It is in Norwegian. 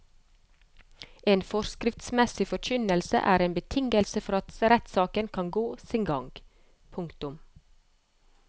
En forskriftsmessig forkynnelse er en betingelse for at rettssaken kan gå sin gang. punktum